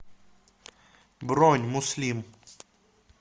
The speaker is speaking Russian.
бронь муслим